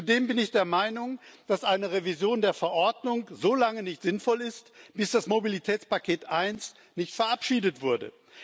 Zudem bin ich der Meinung, dass eine Revision der Verordnung solange nicht sinnvoll ist, bis das Mobilitätspaket 1 nicht verabschiedet wurde.